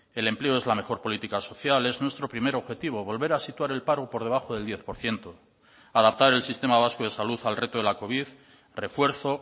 el empleo es la mejor política social es nuestro primer objetivo volver a situar el paro por debajo del diez por ciento adaptar el sistema vasco de salud al reto de la covid refuerzo